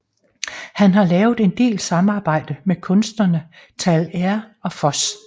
Han har lavet en del samarbejde med kunstnerne Tal R og Fos